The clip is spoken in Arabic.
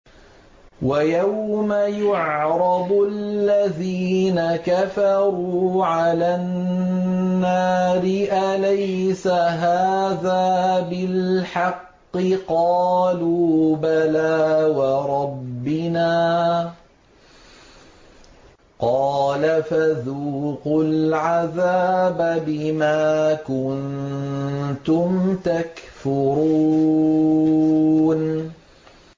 وَيَوْمَ يُعْرَضُ الَّذِينَ كَفَرُوا عَلَى النَّارِ أَلَيْسَ هَٰذَا بِالْحَقِّ ۖ قَالُوا بَلَىٰ وَرَبِّنَا ۚ قَالَ فَذُوقُوا الْعَذَابَ بِمَا كُنتُمْ تَكْفُرُونَ